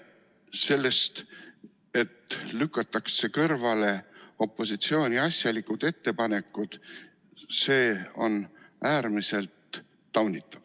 See, kui lükatakse kõrvale opositsiooni asjalikud ettepanekud, on äärmiselt taunitav.